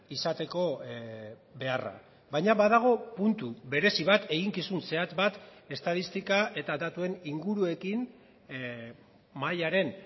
izateko beharra baina badago puntu berezi bat eginkizun zehatz bat estatistika eta datuen inguruekin mahaiaren